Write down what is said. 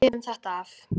Við lifum þetta af.